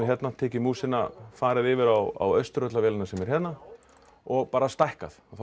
tekið músina farið yfir á Austurvöll á vélina sem er hérna og bara stækkað þá